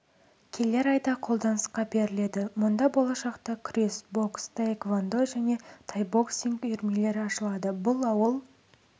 келер айда қолданысқа беріледі мұнда болашақта күрес бокс таэквондо және тайбоксинг үйірмелері ашылады бұл ауыл